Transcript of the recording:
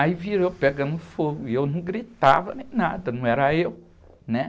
Aí viram eu pegando fogo e eu não gritava nem nada, não era eu.